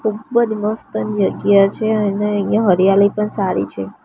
ખૂબજ મસ્ત જગ્યા છે અને અહીંયા હરિયાલી પણ સારી છે.